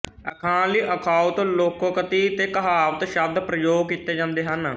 ਅਖਾਣ ਲਈ ਅਖਾਉਂਤ ਲੋਕੋਕਤੀ ਤੇ ਕਹਾਵਤ ਸ਼ਬਦ ਪ੍ਰਯੋਗ ਕੀਤੇ ਜਾਂਦੇ ਹਨ